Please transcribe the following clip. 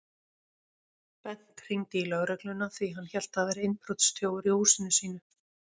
Bent hringdi í lögregluna því hann hélt að það væri innbrotsþjófur í húsinu sínu.